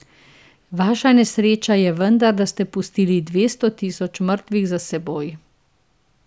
Vaša nesreča je vendar, da ste pustili dvesto tisoč mrtvih za seboj.